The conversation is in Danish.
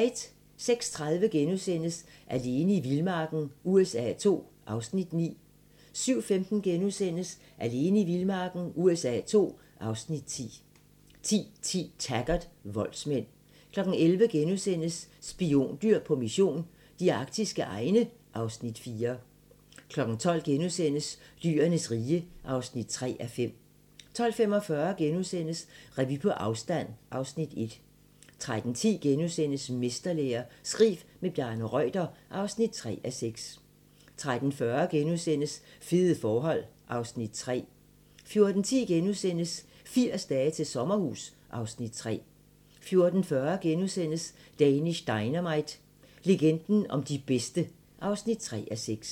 06:30: Alene i vildmarken USA II (Afs. 9)* 07:15: Alene i vildmarken USA II (Afs. 10)* 10:10: Taggart: Voldsmænd 11:00: Spiondyr på mission - de arktiske egne (Afs. 4)* 12:00: Dyrenes rige (3:5)* 12:45: Revy på afstand (Afs. 1)* 13:10: Mesterlære - skriv med Bjarne Reuter (3:6)* 13:40: Fede forhold (Afs. 3)* 14:10: 80 dage til sommerhus (Afs. 3)* 14:40: Danish Dynamite - legenden om de bedste (3:6)*